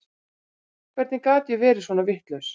Hvernig gat ég verið svona vitlaus?